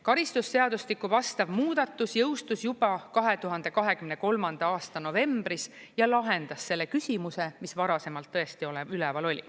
Karistusseadustiku vastav muudatus jõustus juba 2023. aasta novembris ja lahendas selle küsimuse, mis varasemalt tõesti üleval oli.